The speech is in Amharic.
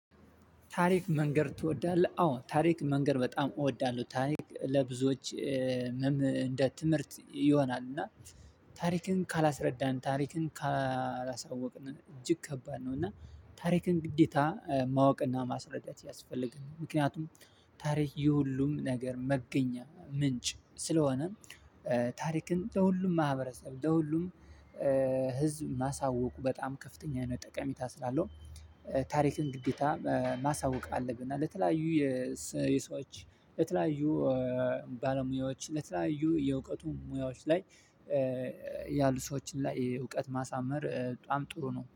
ታሪክ መንገር ትወዳለህ? አዎ ታሪክ መንገር በጣም እወዳለሁ ታሪክ ለብዙዎች እንደ ትምህርት ይሆናል። እና ታሪክን ካላስረዳን ታሪክን ካላሳወቅን እጅግ ከባድ ነው። እና ታሪክን ግዴታ ማወቅና ማስረዳት ያስፈልጋል። ምክንያቱም ታሪክ የሁሉም ነገር መገኛ ምንጭ ስለሆነ። ታሪክን ለሁሉም ማህበረሰብ ለሁሉም ህዝብ ማሳወቁ በጣም ከፍተኛ ጠቀሜታ ስላለው። ታሪክን ግዴታ ማሳወቅ አለብን። ለተለያዩ የሰዎች ለተለያዩ ባለሙያዎች ለተለያዩ የእውቀቱን ሙያዎች ላይ ያሉ ሰዎችን ላይ እውቀት ማሳመር በጣም ጥሩ ነው